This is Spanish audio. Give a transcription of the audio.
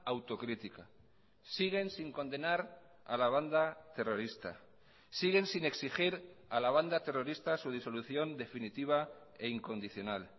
autocrítica siguen sin condenar a la banda terrorista siguen sin exigir a la banda terrorista su disolución definitiva e incondicional